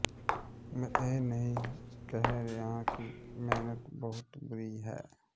ਮੈਂ ਇਹ ਨਹੀਂ ਕਹਿ ਰਿਹਾ ਹਾਂ ਕਿ ਮਿਹਨਤ ਬਹੁਤ ਬੁਰੀ ਹੈ